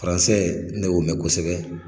ne y'o mɛn kosɛbɛ.